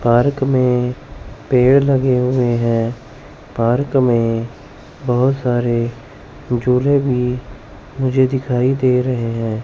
Park में पेड़ लगे हुए हैं पार्क में बहोत सारे झूले भी मुझे दिखाई दे रहे हैं।